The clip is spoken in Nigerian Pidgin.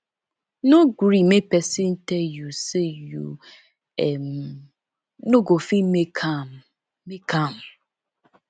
no gree make pesin tell you say you um no go fit make am make am